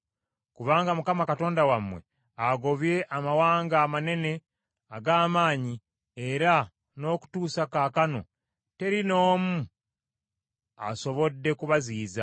“Kubanga Mukama Katonda wammwe agobye amawanga amanene ag’amaanyi era n’okutuusa kaakano teri n’omu asobodde kubaziyiza.